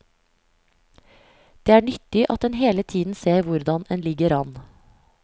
Det er nyttig at en hele tiden ser hvordan en ligger an.